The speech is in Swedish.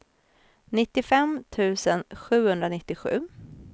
nittiofem tusen sjuhundranittiosju